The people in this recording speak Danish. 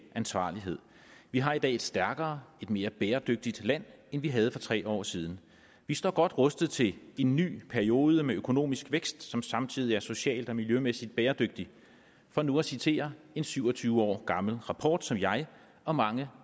ansvarlighed vi har i dag et stærkere et mere bæredygtigt land end vi havde for tre år siden vi står godt rustet til en ny periode med økonomisk vækst som samtidig er social og miljømæssig bæredygtig for nu at citere en syv og tyve år gammel rapport som jeg og mange